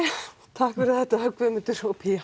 takk fyrir þetta Guðmundur og